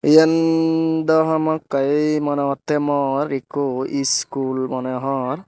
iyendow hamakkai mone hotte mor ikko iskul mone hor.